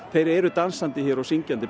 þeir eru dansandi og syngjandi